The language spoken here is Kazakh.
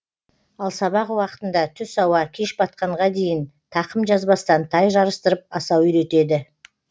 ал сабақ уақытында түс ауа кеш батқанға дейін тақым жазбастан тай жарыстырып асау үйретеді